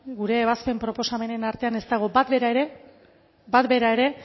gure ebazpen proposamenen artean ez dago bat bera ere bat bera ere